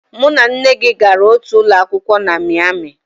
Mụ na nne gị gara otu ụlọ akwụkwọ na Miami